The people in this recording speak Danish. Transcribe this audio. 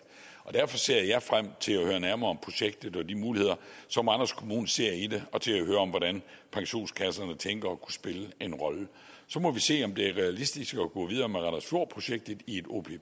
derfor ser jeg frem til at høre nærmere om projektet og de muligheder som randers kommune ser i det og til at høre om hvordan pensionskasserne tænker at kunne spille en rolle så må vi se om det er realistisk at gå videre med randers fjord projektet i et